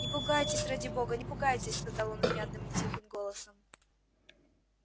не пугайтесь ради бога не пугайтесь сказал он внятным и тихим голосом